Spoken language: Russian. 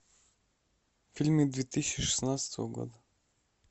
фильмы две тысячи шестнадцатого года